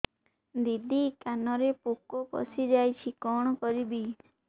ଦିଦି କାନରେ ପୋକ ପଶିଯାଇଛି କଣ କରିଵି